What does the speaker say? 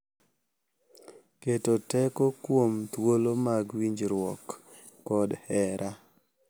Keto teko kuom thuolo mag winjruok kod hera